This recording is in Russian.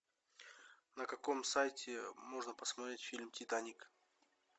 на каком сайте можно посмотреть фильм титаник